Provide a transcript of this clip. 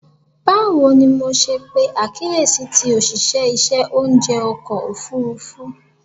Bawo ni MO ṣe pe akiyesi ti oṣiṣẹ iṣẹ ounjẹ ọkọ ofurufu?